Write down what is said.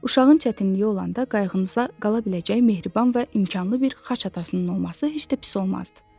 Uşağın çətinliyi olanda qayğımıza qala biləcək mehriban və imkanlı bir xaç atasının olması heç də pis olmazdı.